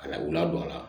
Ka na u ladon a la